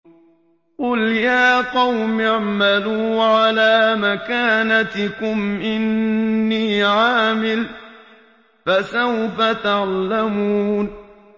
قُلْ يَا قَوْمِ اعْمَلُوا عَلَىٰ مَكَانَتِكُمْ إِنِّي عَامِلٌ ۖ فَسَوْفَ تَعْلَمُونَ